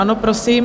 Ano, prosím.